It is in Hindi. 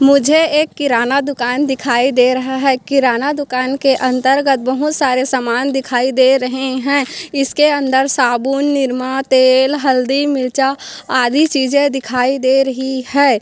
मुझे एक किराना दुकान दिखाई दे रहा है किराना दुकान के अंतर्गत बहुत सारे सामान दिखाई दे रहे है इस के अंदर साबुन निरमा तेल हल्दी मिर्चा आदि चीज़ें दिखाई दे रही है।